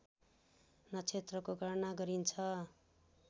नक्षत्रको गणना गरिन्छ